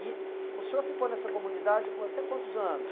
E o senhor ficou nessa comunidade com até quantos anos?